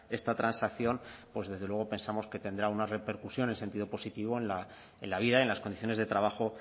esta transacción pues desde luego pensamos que tendrá una repercusión en sentido positivo en la vida en las condiciones de trabajo